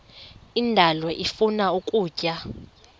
indalo ifuna ukutya